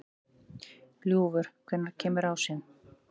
Ljúfur, hvenær kemur ásinn?